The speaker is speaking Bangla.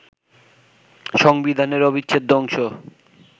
সংবিধানের অবিচ্ছেদ্য অংশ